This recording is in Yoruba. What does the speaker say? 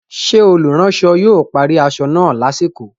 Ṣé olùránsọ yóò parí aṣọ náà lásìkò?